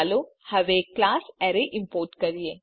ચાલો હવે class array import કરીએ